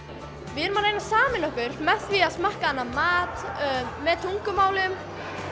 við erum að reyna að sameina okkur með því að smakka annan mat með tungumálum